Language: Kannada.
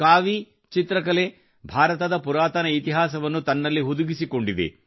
ಕಾವೀ ಚಿತ್ರಕಲೆ ಭಾರತದ ಪುರಾತನ ಇತಿಹಾಸವನ್ನು ತನ್ನಲ್ಲಿ ಹುದುಗಿಸಿಕೊಂಡಿದೆ